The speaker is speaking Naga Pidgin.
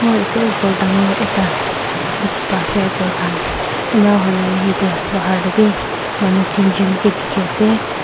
eteh ghor dangor ekta dekhe pa ase ghor khan ena hona yatheh bahar dae bhi manu tinjun kae dekhe ase.